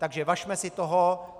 Takže važme si toho.